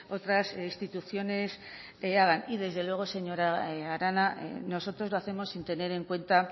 otras instituciones hagan y desde luego señora arana nosotros lo hacemos sin tener en cuenta